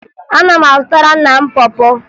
Ana m azụtara nna m pọ pọ